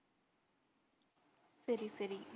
சரி சரி.